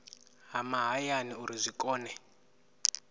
ha mahayani uri zwi kone